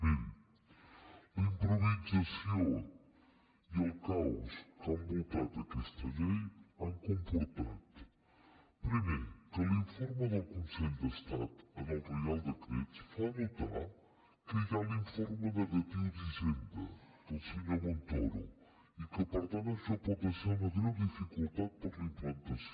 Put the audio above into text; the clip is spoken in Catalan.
miri la improvisació i el caos que han envoltat aquesta llei han comportat primer que l’informe del consell d’estat en el reial decret fa notar que hi ha l’informe negatiu d’hisenda del senyor montoro i que per tant això pot ser una greu dificultat per a la implantació